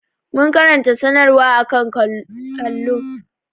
Mun karanta sanarwar a kan allo.